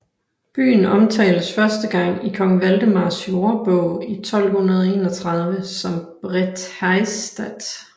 Byen omtales første gang i kong Valdemars Jordebog i 1231 som Brethaestath